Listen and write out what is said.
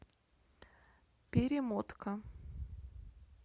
перемотка